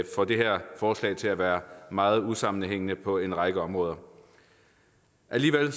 får det her forslag til at være meget usammenhængende på en række områder alligevel